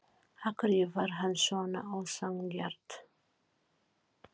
Af hverju var hann svona ósanngjarn?